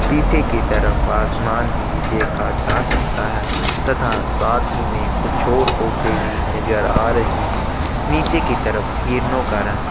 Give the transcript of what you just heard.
पीछे की तरफ आसमान भी देखा जा सकता है तथा साथ ही में कुछ और पौधे भी नज़र आ रहे है नीचे की तरफ हिरनों का रंग--